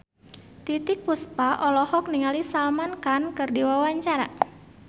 Titiek Puspa olohok ningali Salman Khan keur diwawancara